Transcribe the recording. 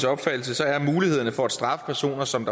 opfattelse er mulighederne for at straffe personer som